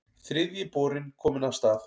Þriðji borinn kominn af stað